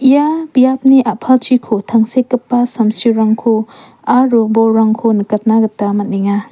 ia biapni a·palchiko tangsekgipa samsirangko aro bolrangko nikatna gita man·enga.